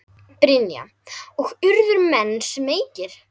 Brynja: Og urðu menn smeykir?